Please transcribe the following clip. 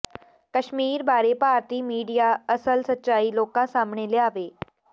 ਕਸ਼ਮੀਰ ਬਾਰੇ ਭਾਰਤੀ ਮੀਡੀਆ ਅਸਲ ਸੱਚਾਈ ਲੋਕਾਂ ਸਾਹਮਣੇ ਲਿਆਵੇ